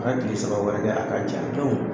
A ka tile saba wɛrɛ kɛ a ka ja